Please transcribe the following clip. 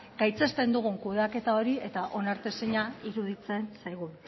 gaitzesten dugun kudeaketa hori eta onartezina iruditzen zaigun